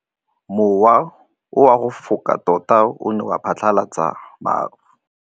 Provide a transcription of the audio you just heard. Mowa o wa go foka tota o ne wa phatlalatsa maru.